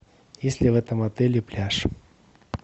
есть ли в этом отеле пляж